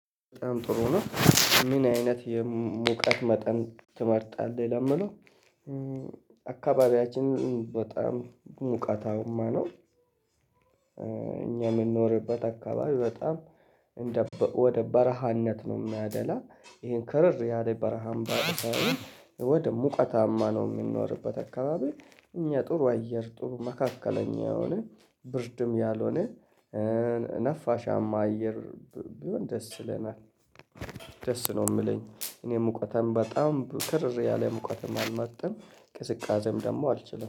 በጣም ጥሩ ነው። ምን አይነት የሙቀት መጠን ትመርጣለህ? ለሚለው አካባቢያችን በጣም ሙቀታማ ነው። እኛ የምንኖርበት አካባቢ በጣም ወደ በረሃነት ነው የሚያደላ፤ ይሄን ከረር ያለ በረሃማ ሳይሆን ወደ ሙቀታማ ነው የምንኖርበት አካባቢ፤ እኛ ጥሩ አየር፣ ጥሩ መካከለኛ የሆነ ብርድም ያልሆነ ነፋሻማ አየር ቢሆን ደስ ይለናል። ደስ ነው የምለኝ። እኔ ሙቀትም በጣም ክርር ያለ ሙቀተም አልመርጥም። ቅዝቃዜም ደግሞ አልችልም።